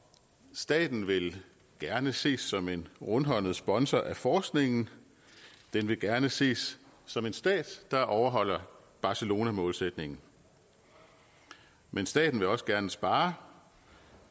staten vil gerne ses som en rundhåndet sponsor af forskningen den vil gerne ses som en stat der overholder barcelonamålsætningen men staten vil også gerne spare og